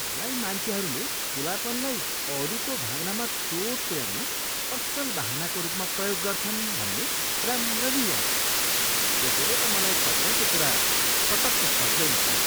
मलाई मान्छेहरूले खुलापनलाई अरूको भावनामा चोट पुऱ्याउन असल बहानाको रूपमा प्रयोग गर्छन् भन्ने राम्ररी याद छ। त्यसैले त मलाई तपाईँको कुरा पटक्क पच्दैन त।